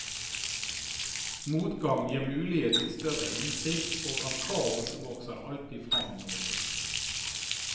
Motgang gir mulighet til større innsikt, og av kaos vokser det alltid fram noe nytt.